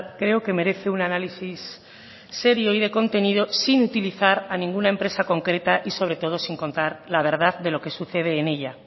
creo que merece un análisis serio y de contenido sin utilizar a ninguna empresa concreta y sobre todo sin contar la verdad de lo que sucede en ella